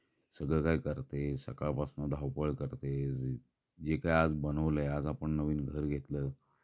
सगळं काय करतेस सकाळपासून धावपळ करते. जे काय आज बनवलयं आज आपण नवीन घर घेतलं